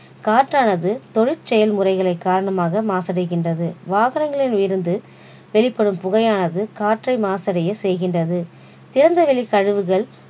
காற்றானது தொழிற்செயல்முறைகளை காரணமாக மாசடைகின்றது வாகங்களில் இருந்து வெளிப்படும் புகையானது காற்றை மாசடைய செய்கின்றது திறந்த வெளிக் கழிவுகள்